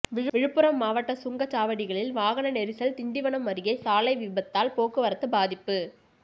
விழுப்புரம் மாவட்ட சுங்கச்சாவடிகளில் வாகன நெரிசல்திண்டிவனம் அருகே சாலை விபத்தால் போக்குவரத்து பாதிப்பு